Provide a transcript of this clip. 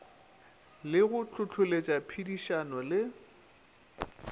le go hlohloletša phedišano le